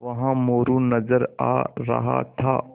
वहाँ मोरू नज़र आ रहा था